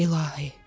İlahi.